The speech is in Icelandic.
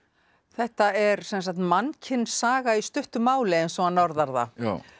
þetta er sem sagt mannkynssaga í stuttu máli eins og hann orðar það